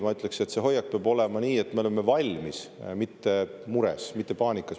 Ma ütleksin, et hoiak peab olema selline, et me oleme valmis, mitte mures, mitte paanikas.